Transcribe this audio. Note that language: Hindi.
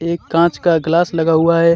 एक कांच का ग्लास लगा हुआ है।